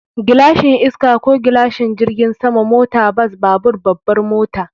Gilashin iska ko gilashin jirgin sama, mota, bas, babur, babbar mota.